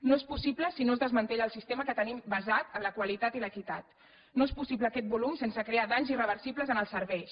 no és possible si no es desmantella el sistema que tenim basat en la qualitat i l’equitat no és possible aquest volum sense crear danys irreversibles en els serveis